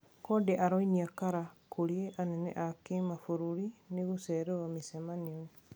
Conde araonia kara kũri anene a kimabũrũri ni gũcererwo micemanio.